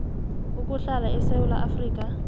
ukuhlala esewula afrika